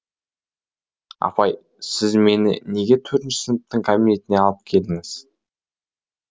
апай сіз мені неге төртінші сыныптың кабинентіне алып келдіңіз